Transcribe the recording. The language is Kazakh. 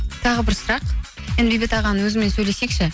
тағы бір сұрақ енді бейбіт ағаның өзімен сөйлесейікші